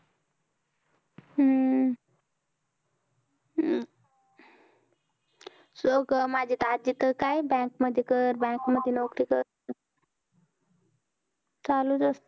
हम्म माझे दाजी तर काय bank मध्ये घर bank मध्ये नोकरी करत अं चालूच असतं.